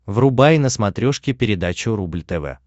врубай на смотрешке передачу рубль тв